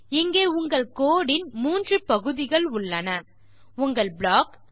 இங்கே உங்கள் கோடு இன் 3 பகுதிகள் உள்ளன உங்கள் ப்ளாக்